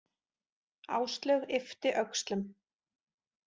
Áslaug yppti öxlum.